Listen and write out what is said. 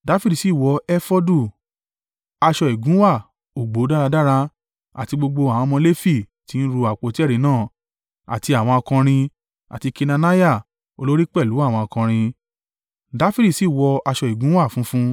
Dafidi sì wọ efodu; aṣọ ìgúnwà ọ̀gbọ̀ dáradára, àti gbogbo àwọn ọmọ Lefi tí ń ru àpótí ẹ̀rí náà, àti àwọn akọrin, àti Kenaniah olórí pẹ̀lú àwọn akọrin. Dafidi sì wọ aṣọ ìgúnwà funfun.